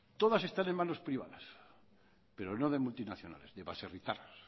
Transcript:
todas están en manos privadas pero no de multinacionales de baserritarras